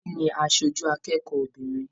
Bisi ní aṣoju akẹ́kọ̀ọ́ obìnrin.